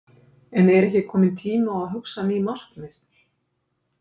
En er ekki kominn tími á að hugsa ný markmið?